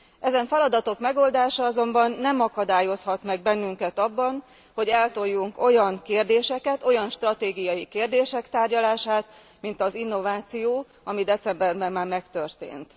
Ezen feladatok megoldása azonban nem akadályozhat meg bennünket abban, hogy eltoljunk olyan kérdéseket, olyan stratégiai kérdések tárgyalását, mint az innováció, ami decemberben már megtörtént.